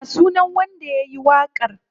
Ya sunan wanda yayi waƙar?